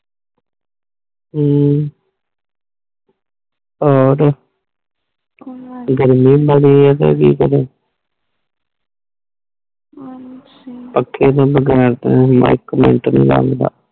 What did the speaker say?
ਹਮ ਹੋਰ ਗਰਮੀ ਬੜੀ ਏ ਤੇ ਕਿ ਕਰੇ ਅੱਛਾ ਪੱਖੇ ਤੋਂ ਬਗੈਰ ਤਾ ਬੰਦਾ ਇਕ ਮਿੰਟ ਨਹੀਂ ਰਹਿੰਦਾ